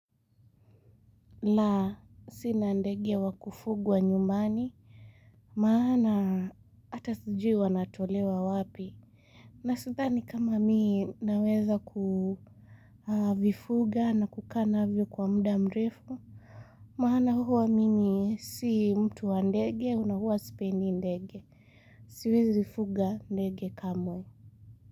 La sina ndege iwakufugwa nyumbani. Maana hata sijui wanatolewa wapi. Na sithani kama mii naweza kuvifuga na kukaa navyo kwa muda mrefu. Maana huwa mimi si mtu wa ndege na huwa sipendi ndege. Siwezi vifuga ndege kamwe.